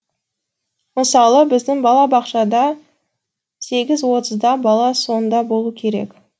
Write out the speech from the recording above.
мысалы біздің бала бақшада сегіз отызда бала сонда болу керек